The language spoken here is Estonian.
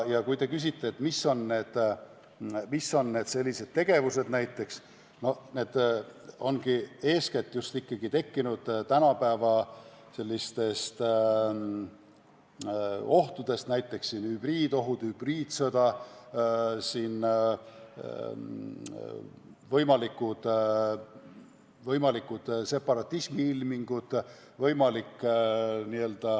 Kui te küsite, mis olukord see näiteks võib olla, siis eeskätt võib see tekkida tänapäeva ohtude tõttu: näiteks hübriidohud, hübriidsõda, võimalikud separatismi ilmingud.